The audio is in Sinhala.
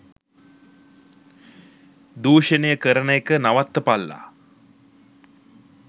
දූෂණය කරන එක නවත්තපල්ලා.